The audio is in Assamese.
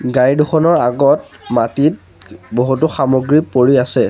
গাড়ী দুখনৰ আগত মাটিত বহুতো সামগ্ৰী পৰি আছে।